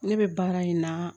Ne bɛ baara in na